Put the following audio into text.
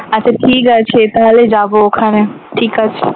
আচ্ছা ঠিক আছে তাহলে যাবো ওখানে ঠিক আছে.